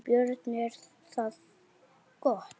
Björn: Er það gott?